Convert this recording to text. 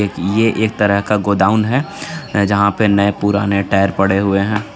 यह एक तरह का गोडाउन हे जहापे नये पुराने टायर पड़े हुए हे.